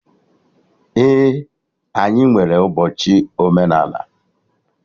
Ee, anyị nwere ụbọchị omenala